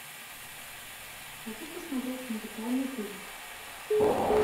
хочу посмотреть музыкальный фильм